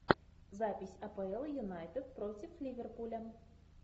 запись апл юнайтед против ливерпуля